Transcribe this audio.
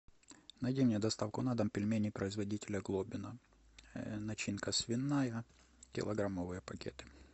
найди мне доставку на дом пельмени производителя глобино начинка свиная килограммовые пакеты